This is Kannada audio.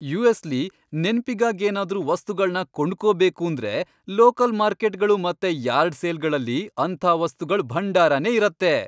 ಯು.ಎಸ್.ಲಿ ನೆನ್ಪಿಗಾಗ್ ಏನಾದ್ರೂ ವಸ್ತುಗಳ್ನ ಕೊಂಡ್ಕೊಬೇಕೂಂದ್ರೆ ಲೋಕಲ್ ಮಾರ್ಕೆಟ್ಗಳು ಮತ್ತೆ ಯಾರ್ಡ್ ಸೇಲ್ಗಳಲ್ಲಿ ಅಂಥ ವಸ್ತುಗಳ್ ಭಂಡಾರನೇ ಇರತ್ತೆ.